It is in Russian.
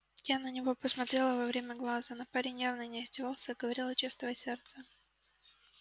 я на него посмотрела во все глаза но парень явно не издевался а говорил от чистого сердца